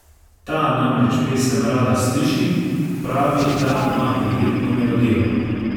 Ta namreč pesem rada sliši, pravi, da ima prijetno melodijo.